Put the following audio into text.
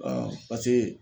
pase